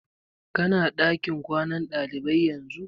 Ki na ɗakin kwanan ɗalibai yanzu?